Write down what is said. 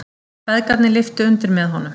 Feðgarnir lyftu undir með honum.